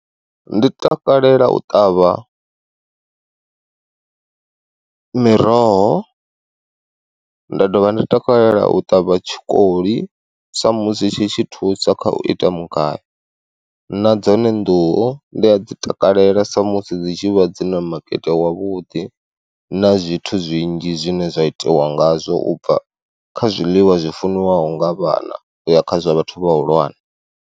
Ndi takalela u ṱavha miroho, nda dovha nda takalela u ṱavha tshikoli sa musi tshi tshi thusa kha u ita mugayo, na dzone nḓuhu ndi a dzi takalela sa musi dzi tshi vha dzi na makete wavhuḓi, na zwithu zwinzhi zwine zwa itiwa ngazwo ubva kha zwiḽiwa zwi funziwaho nga vhana uya kha zwa vhathu vhahulwane.